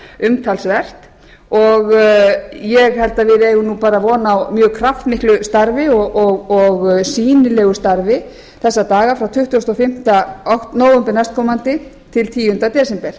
umtalsvert ég held að við eigum von á mjög kraftmiklu starfi og sýnilegu þessa daga frá tuttugasta og fimmta nóvember næstkomandi til tíunda desember